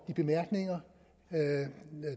de bemærkninger